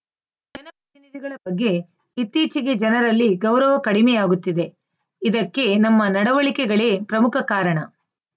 ಜನ ಪ್ರತಿನಿಧಿಗಳ ಬಗ್ಗೆ ಇತ್ತೀಚೆಗೆ ಜನರಲ್ಲಿ ಗೌರವ ಕಡಿಮೆಯಾಗುತ್ತಿದೆ ಇದಕ್ಕೆ ನಮ್ಮ ನಡುವಳಿಕೆಗಳೇ ಪ್ರಮುಖ ಕಾರಣ